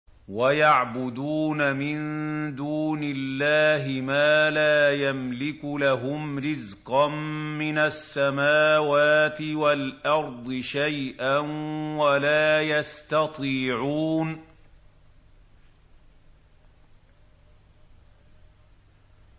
وَيَعْبُدُونَ مِن دُونِ اللَّهِ مَا لَا يَمْلِكُ لَهُمْ رِزْقًا مِّنَ السَّمَاوَاتِ وَالْأَرْضِ شَيْئًا وَلَا يَسْتَطِيعُونَ